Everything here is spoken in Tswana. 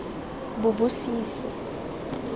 bobosisi